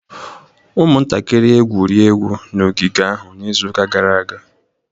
Ụmụntakịrị egwuri egwu n'ogige ahụ n'izuụka gara aga.